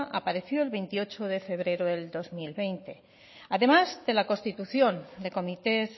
apareció el veintiocho de febrero de dos mil veinte además de la constitución de comités